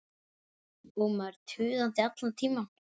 Og maður tuðandi allan tímann.